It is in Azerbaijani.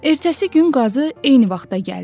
Ertəsi gün qazı eyni vaxtda gəldi.